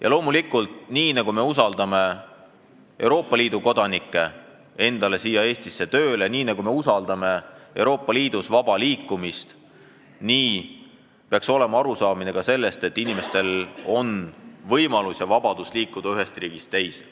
Ja loomulikult, nii nagu me võtame Euroopa Liidu kodanikke siia Eestisse tööle, nii nagu me toetame Euroopa Liidus vaba liikumist, nii peaks loomulik olema ka arusaamine, et inimestel peab olema võimalus ja vabadus liikuda ühest riigist teise.